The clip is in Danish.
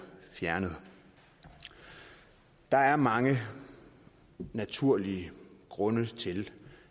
fjernet der er mange naturlige grunde til